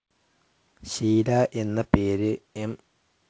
ഷീല എന്ന പേര് എം.